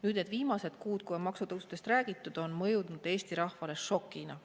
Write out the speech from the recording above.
Need viimased kuud, kui on maksutõusudest räägitud, on mõjunud Eesti rahvale šokina.